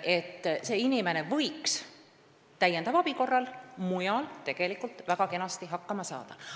tegelikult võiks mõni inimene täiendava abi korral väga kenasti hakkama saada ka mujal.